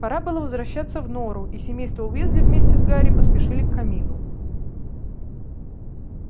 пора было возвращаться в нору и семейство уизли вместе с гарри поспешили к камину